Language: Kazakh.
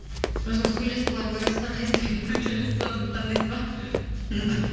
өзіңіз сөйлесіп былай көресіз да қайсысымен онша емес ия соны таңдайсыз ба ия мхм